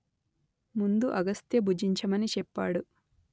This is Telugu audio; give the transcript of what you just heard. ముందు అగస్త్య భుజించమని చెప్పాడు